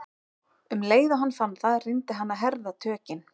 Um leið og hann fann það reyndi hann að herða tökin.